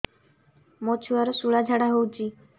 ମୋ ଛୁଆର ସୁଳା ଝାଡ଼ା ହଉଚି